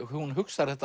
hún hugsar